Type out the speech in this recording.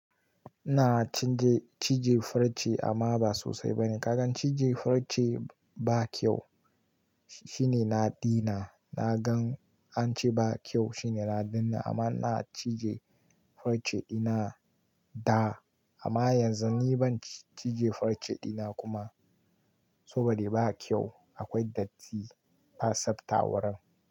Ina cije farce amma ba sosai bane. Kagan cije farce ba kyau shine na daina. Na gan an ce ba kyau shine na daina amma ina cije farce dina da. Amma yanzu ni ban cije farce dina kuma saboda ba kyau. Akwai datti, ba tsafta wurin.